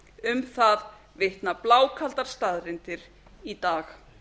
um það vitna blákaldar staðreyndir í dag